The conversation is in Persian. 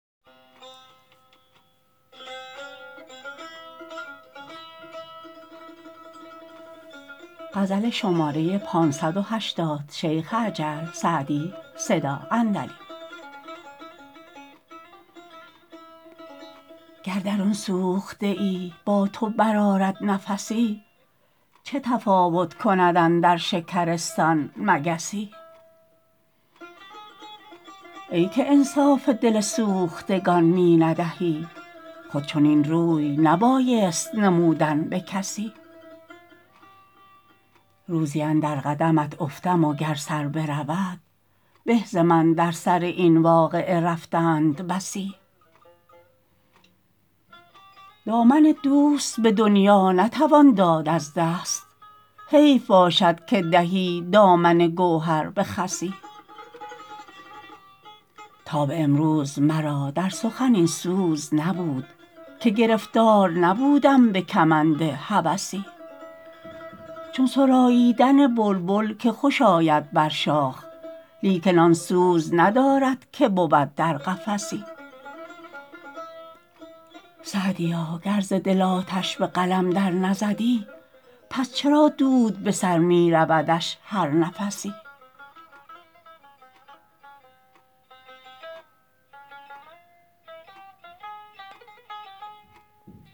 گر درون سوخته ای با تو برآرد نفسی چه تفاوت کند اندر شکرستان مگسی ای که انصاف دل سوختگان می ندهی خود چنین روی نبایست نمودن به کسی روزی اندر قدمت افتم و گر سر برود به ز من در سر این واقعه رفتند بسی دامن دوست به دنیا نتوان داد از دست حیف باشد که دهی دامن گوهر به خسی تا به امروز مرا در سخن این سوز نبود که گرفتار نبودم به کمند هوسی چون سراییدن بلبل که خوش آید بر شاخ لیکن آن سوز ندارد که بود در قفسی سعدیا گر ز دل آتش به قلم در نزدی پس چرا دود به سر می رودش هر نفسی